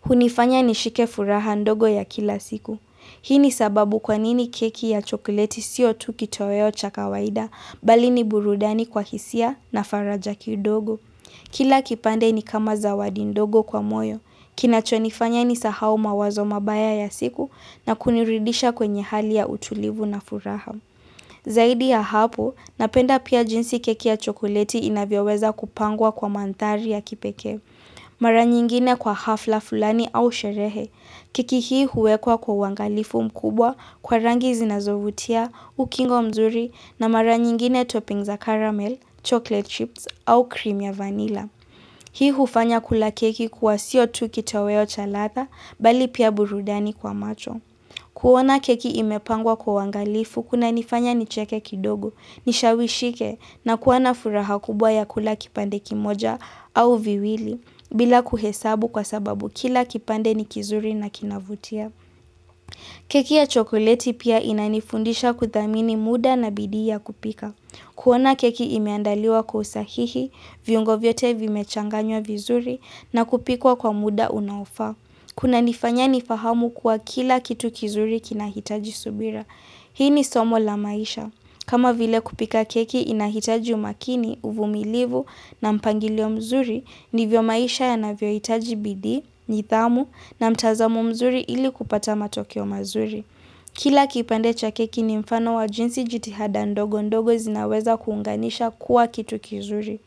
hunifanya nishike furaha ndogo ya kila siku. Hii ni sababu kwa nini keki ya chokleti sio tu kitoweo cha kawaida bali ni burudani kwa hisia na faraja kidogo. Kila kipande ni kama zawadi ndogo kwa moyo, kinachonifanya ni sahau mawazo mabaya ya siku na kunirudisha kwenye hali ya utulivu na furaha. Zaidi ya hapo, napenda pia jinsi keki ya chokoleti inavyoweza kupangwa kwa mandhari ya kipeke. Mara nyingine kwa hafla fulani au sherehe. Keki hii huwekwa kwa uwangalifu mkubwa kwa rangi zinazovutia, ukingo mzuri na mara nyingine toppings za caramel, chocolate chips au krimu ya vanilla. Hii hufanya kula keki kuwa sio tu kitoweo cha ladha bali pia burudani kwa macho. Kuona keki imepangwa kwa uwangalifu kunanifanya nicheke kidogo, nishawishike na kuwana furaha kubwa ya kula kipande kimoja au viwili bila kuhesabu kwa sababu kila kipande ni kizuri na kinavutia. Keki ya chokoleti pia inanifundisha kuthamini muda na bidii ya kupika. Kuona keki imeandaliwa kwa usahihi, viungo vyote vimechanganywa vizuri na kupikwa kwa muda unaofaa. Kuna nifanya nifahamu kuwa kila kitu kizuri kinahitaji subira. Hii ni somo la maisha. Kama vile kupika keki inahitaji umakini, uvumilivu na mpangilio mzuri ndivyo maisha yanavyo itaji bidii, njidhamu na mtazamo mzuri ili kupata matokeo mazuri. Kila kipande cha keki ni mfano wa jinsi jitihada ndogo ndogo zinaweza kuunganisha kuwa kitu kizuri.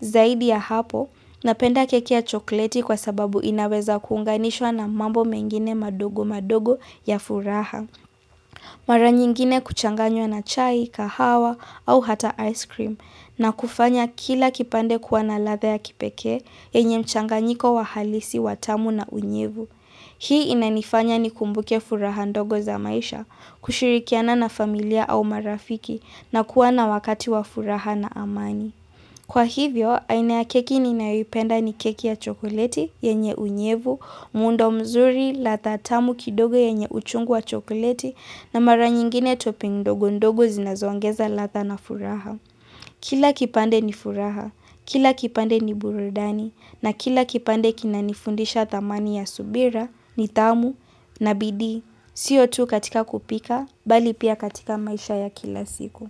Zaidi ya hapo, napenda keki ya chokoleti kwa sababu inaweza kuunganishwa na mambo mengine madogo madogo ya furaha. Mara nyingine kuchanganywa na chai, kahawa au hata ice cream na kufanya kila kipande kuwa na ladha ya kipeke yenye mchanganyiko wa halisi wa tamu na unyevu. Hii inanifanya nikumbuke furaha ndogo za maisha kushirikiana na familia au marafiki na kuwa na wakati wa furaha na amani. Kwa hivyo, aina ya keki ninayoipenda ni keki ya chokoleti, yenye unyevu, muundo mzuri, ladha tamu kidogo yenye uchungu wa chokoleti, na mara nyingine topping ndogo ndogo zinazoangeza ladha na furaha. Kila kipande ni furaha, kila kipande ni burudani, na kila kipande kina nifundisha thamani ya subira, ni tamu, na bidii, siyo tu katika kupika, bali pia katika maisha ya kila siku.